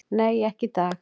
"""Nei, ekki í dag."""